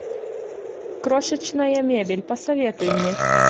крошечная мебель посоветуй мне